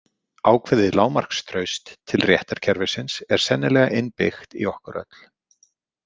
Ákveðið lágmarkstraust til réttarkerfisins er sennilega innbyggt í okkur öll.